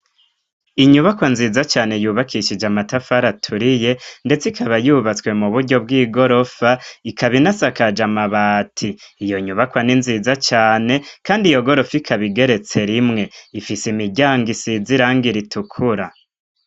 Inyubakwa nziza cane yubakishije amatafari aturiye ,ndetse ikaba yubatswe mu buryo bw'igorofa, ikaba inasakaje amabati ,iyo nyubakwa ni nziza cane kandi iyo gorofa ikaba igeretse rimwe ,ifise imiryango isizi irangira ritukura.